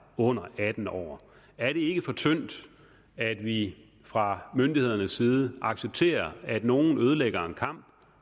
under atten år er det ikke for tyndt at vi fra myndighedernes side accepterer at nogen ødelægger en kamp